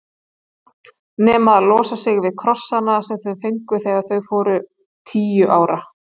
Allt nema að losa sig við krossana sem þau fengu þegar þau voru tíu ára.